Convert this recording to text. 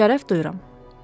Şərəf duyuram,